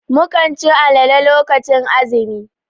Mukan cin alale lokacin azumi.